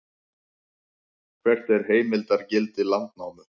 hvert er heimildargildi landnámu